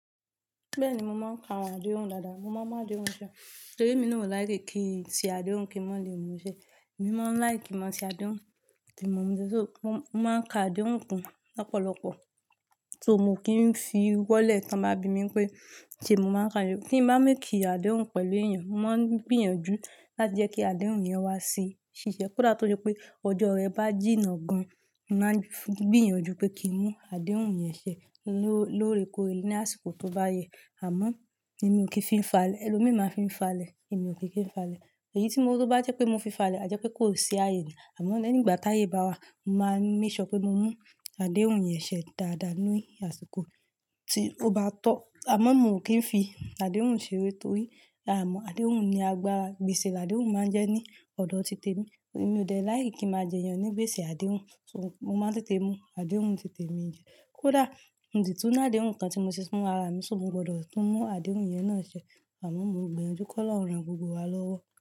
Bẹ́ẹ̀ni, mo máa ń ka àwọn àdéhùn dáadáa, mo máa ń mu àdéhùn ṣe torí emí ni o like kin n ṣe àdéhùn kí n ma le mú u ṣẹ. Èmi máa ń like ki n máa ṣe àdéhùn tí mo mọ̀, só mo máa ń ka àdéhùn kun lọ́pọ̀lọ́pọ̀ so, mo kì ń fi wọ́lẹ̀ tí wọ́n bá bi mí pé ṣé mo máa ń ka Kí n bá ń ṣe àdéhùn pẹ̀lú èèyàn, mo máa ń gbìyànjú láti jẹ́ kí àdéhùn yẹn wá sí ṣiṣẹ́. Kódà tó jẹ́ pé ọjọ́ rẹ bá jìnnà gan, mo máa ń gbìyànjú pé kí n mú àdéhùn yẹn ṣẹ lóorekoore ní àsìkò tó bá yẹ. Àmọ́ ẹmi ò kí n fi falẹ̀, ẹlòmíràn ma fi ń falẹ̀, èmi ò kí n fi falẹ̀. Ẹ̀yí tí o bá jẹ́ pé mo fi falẹ̀, a jẹ́ pé kò ṣe àyè ni. Àmọ́ lẹ́yìn ìgbà tí ayé bá wà, mo máa ń make sure pé mo mú àdéhùn yẹn ṣẹ dáadáa nínú àsìkò tí ó bá tọ́. Àmọ́ mo kì í fi àdéhùn ṣeré torí a mọ̀ àdéhùn ni agbára gbèsè. Àdéhùn máa ń jẹ́ ní ọ̀dọ̀ titẹ̀ mi, èmi ò dẹ̀ like kin máa jẹyàn ní gbèsè àdéhùn, so, mo máa ń tètè mú àdéhùn titẹ̀ mi sẹ. Kódà mo sí tún ni àdéhùn kan tí mo ṣe fún ara mi, so, mo gbọdọ̀ tún mú àdéhùn yẹn náà ṣẹ. Àmọ́ mo gbìyànjú kí Ọlọ́run ràn gbogbo wa lọ́wọ́